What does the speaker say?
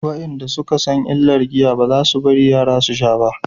wayanda suka san illar giya ba za su bari yara su sha ba